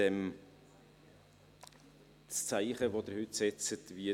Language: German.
Das Zeichen, das Sie heute setzen, ist folgendes: